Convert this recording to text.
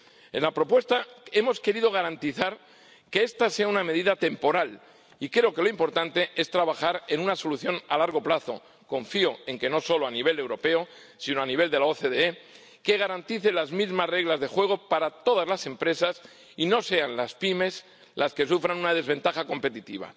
En la propuesta hemos querido garantizar que esta sea una medida temporal y creo que lo importante es trabajar en una solución a largo plazo —confío en que no solo a nivel europeo, sino a nivel de la OCDE— que garantice las mismas reglas de juego para todas las empresas y no sean las pymes las que sufran una desventaja competitiva.